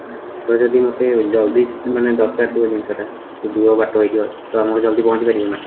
ତାହେଲେ ଯଦି ମତେ ଜଲଦି ମାନେ ଦରକାର ଥିବ ଜିନିଷ ଟା ଦୂର ବାଟ ହେଇଥିବ ତ ଆମର ଜଲଦି ପହଁଚି ପାରିବି ନା?